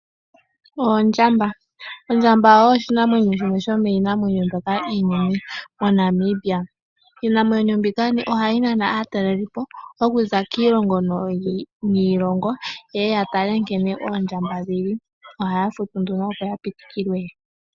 Oondjamba Ondjamba oyo oshinamwenyo shimwe shomii namwenyo mbyoka iinene MoNamibia. Iinamwenyo mbika oha yi nana aatalelipo okuza kiilongo niilongo, yeye ya tale nkene oondjamba dhili. Ohaya futu nduno opo ya pitikilwe.